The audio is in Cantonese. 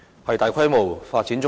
是大規模發展棕地？